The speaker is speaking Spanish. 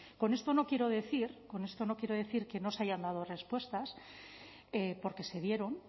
con esto no quiero decir con esto no quiero decir que no se hayan dado respuestas porque se dieron